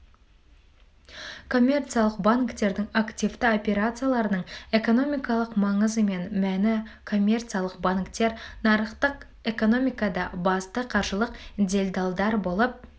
коммерциялық банктердің активті операцияларының экономикалық маңызы мен мәні коммерциялық банктер нарықтық экономикада басты қаржылық делдалдар болып